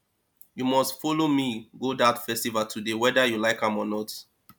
you must follow me go dat festival today whether you like am or not